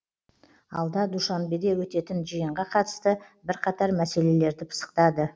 алда душанбеде өтетін жиынға қатысты бірқатар мәселелерді пысықтады